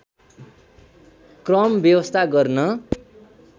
क्रम व्यवस्था गर्न